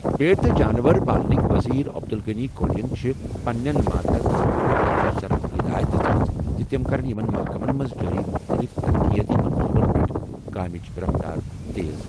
بھیڑ تہٕ جانور پالنٕکۍ وزیر عبدالغنی کوہلیَن چھِ پننٮ۪ن ماتحت محکمَن ہٕنٛدٮ۪ن افسرَن ہدایت دِژمٕژ زِ تِم کرَن یِمَن محکمَن منٛز جٲری مُختٔلِف ترقیٲتی منصوبَن پٮ۪ٹھ کٲمٕچ رفتار تیز۔